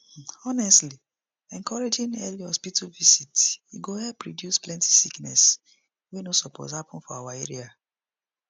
honestly encouraging early hospital visit e go help reduce plenty sickness wey no suppose happen for our area